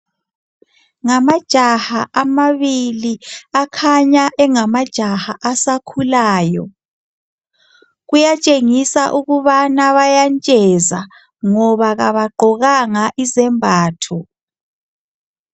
Ngamajaha amabili asakhulayo. Kuyakhanya ukuthi bayantsheza ngoba abagqokanga izembatho.